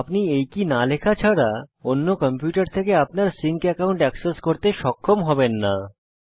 আপনি এই কী না লেখা ছাড়া অন্য কম্পিউটার থেকে আপনার সিঙ্ক একাউন্ট এক্সেস করতে সক্ষম হবেন না